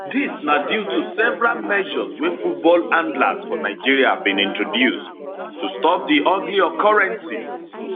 dis na due to several measures wey football handlers for nigeria bin introduce to stop di ugly occurrences